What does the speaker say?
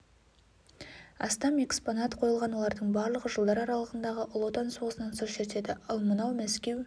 астам экспонат қойылған олардың барлығы жылдар аралығындағы ұлы отан соғысынан сыр шертеді ал мынау мәскеу